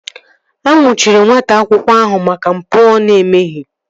A nnwuchiri nwata nwoke ahụ maka mpụ ọ na-emeghị